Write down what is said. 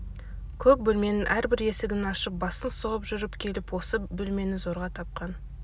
көп бөлменің әрбір есігін ашып басын сұғып жүріп келіп осы бөлмені зорға тапқан